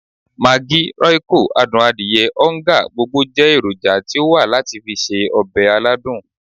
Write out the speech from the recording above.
Maggi, royco, adun adiye, oonga, gbogbo je eroja ti o wa lati fi se obe aladun.